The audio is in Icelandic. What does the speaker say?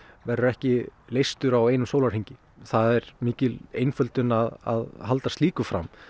verður ekki leystur á einum sólarhring það er mikil einföldun að halda slíku fram